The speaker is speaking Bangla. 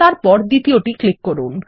তারপর দ্বিতীয়তে ক্লিক করুন